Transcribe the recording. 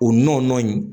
O nɔn in